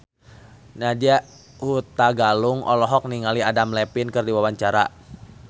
Nadya Hutagalung olohok ningali Adam Levine keur diwawancara